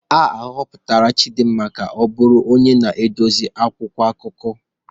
A họpụtara Chidinma ka ọ bụrụ onye na-edezi akwụkwọ akụkọ